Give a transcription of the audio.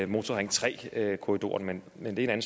motorring tre korridoren men det er en